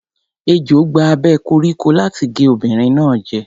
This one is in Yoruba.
Ejò gba abẹ́ koríko láti gé obìnrin náà jẹ.